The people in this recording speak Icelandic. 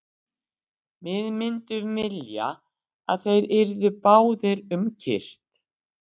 Við myndum vilja að þeir yrðu báðir um kyrrt.